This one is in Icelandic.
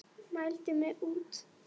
Mældi mig út.